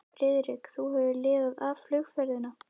Friðrik, þú hefur lifað af flugferðina